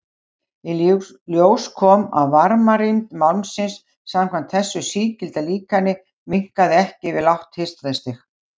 Í ljós kom að varmarýmd málmsins samkvæmt þessu sígilda líkani minnkaði ekki við lágt hitastig.